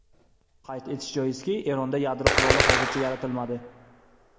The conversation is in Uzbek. Qayd etish joizki, Eronda yadro quroli hozircha yaratilmadi.